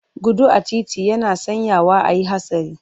Gudu a titi yana sanyawa a yi hatsari.